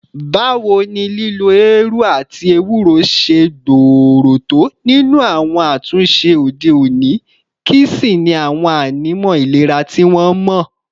Báwo ni lílo eérú àti éwurò ṣe gbòòrò tó nínú àwọn àtúnṣe òde òní, kí sì ni àwọn ànímọ́ ìlera tí wọ́n mọ̀?